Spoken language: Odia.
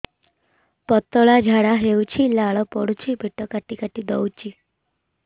ପତଳା ଝାଡା ହଉଛି ଲାଳ ପଡୁଛି ପେଟ କାଟି କାଟି ଦଉଚି